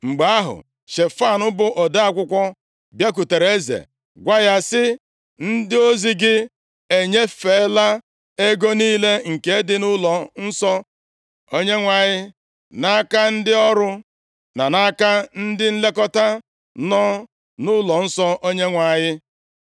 Mgbe ahụ, Shefan, bụ ode akwụkwọ, bịakwutere eze, gwa ya sị, “Ndị ozi gị enyefela ego niile nke dị nʼụlọnsọ Onyenwe anyị nʼaka ndị ọrụ na nʼaka ndị nlekọta nọ nʼụlọnsọ Onyenwe anyị.”